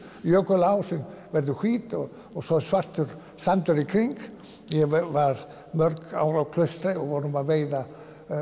jökulá sem verður hvít og svo er svartur sandur í kring ég var mörg ár á Klaustri við vorum að veiða